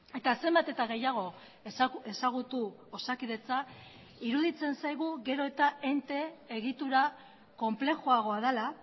eta zenbat eta gehiago ezagutu osakidetza iruditzen zaigu gero eta ente egitura konplexuagoa dela